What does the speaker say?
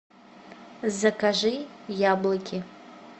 закажи яблоки